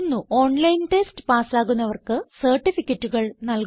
online test പാസ്സാകുന്നവർക്ക് സർട്ടിഫികറ്റുകൾ നല്കുന്നു